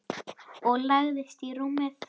Og lagðist í rúmið.